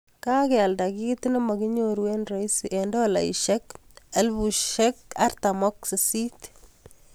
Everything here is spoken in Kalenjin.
Kagealda kit namakinyoru eng rahisi eng dolaishek48000